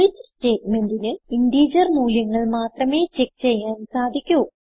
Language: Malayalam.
സ്വിച്ച് സ്റ്റേറ്റ്മെന്റിന് ഇന്റഗർ മൂല്യങ്ങൾ മാത്രമേ ചെക്ക് ചെയ്യാൻ സാധിക്കു